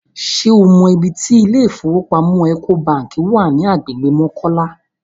Ṣé o mọ ibi tí ilé ìfowópamọ́ Ecobank wà ní agbègbè Mọ́kọ́lá?